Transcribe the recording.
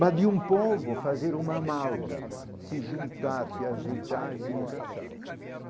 mas de um povo fazer uma amálgama, se juntar, se agitar e se encaixar.